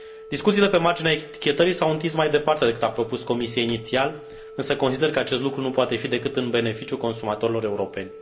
Discuțiile pe marginea etichetării s au întins mai departe decât a propus Comisia inițial, însă consider că acest lucru nu poate fi decât în beneficiul consumatorilor europeni.